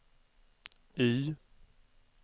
Y